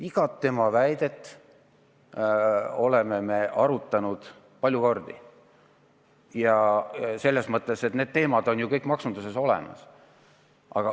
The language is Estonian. Igat tema väidet me oleme arutanud palju kordi ja selles mõttes on need teemad ju kõik maksunduses teada.